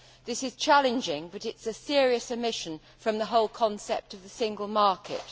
This is challenging but it is a serious omission from the whole concept of the single market.